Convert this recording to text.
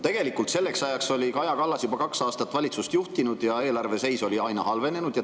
" Tegelikult selleks ajaks oli Kaja Kallas juba kaks aastat valitsust juhtinud ja eelarve seis oli aina halvenenud.